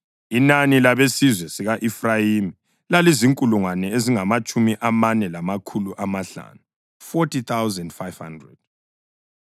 Inani labesizwe sika-Efrayimi lalizinkulungwane ezingamatshumi amane lamakhulu amahlanu (40,500).